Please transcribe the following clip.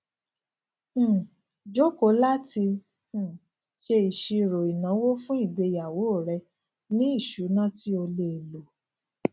um joko lati um se isiro inawo fun igbeyawo re ni isuna ti o le lo